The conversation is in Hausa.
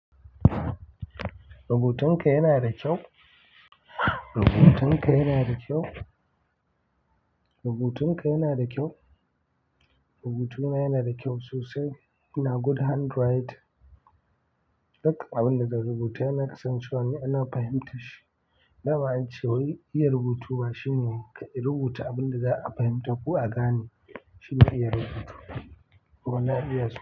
Rubutunka yana da kyau. Rubutunka yana da kyau. Rubutunka yana da kyau. Rubutuna yana da kyau sosai. Ina good handwriting. Duk abin da zan rubuta yana kasancewa ne ina fahimta shi. Dama ance, wai iya rubutu ba shine rubuta abin da za a fahimta kuwa a gane. Shine iya rubutu. Kuma na iya su.